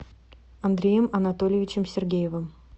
андреем анатольевичем сергеевым